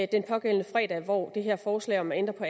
den pågældende fredag hvor det her forslag om at ændre på